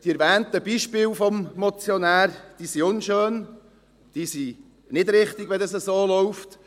Die vom Motionär erwähnten Beispiele sind unschön und es ist nicht richtig, wenn das so läuft.